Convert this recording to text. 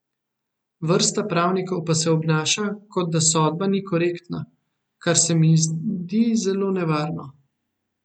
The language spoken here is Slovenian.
Vrsta pravnikov pa se obnaša, kot da sodba ni korektna, kar se mi zdi zelo nevarno.